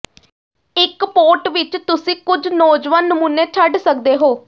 ਇੱਕ ਪੋਟ ਵਿੱਚ ਤੁਸੀਂ ਕੁਝ ਨੌਜਵਾਨ ਨਮੂਨੇ ਛੱਡ ਸਕਦੇ ਹੋ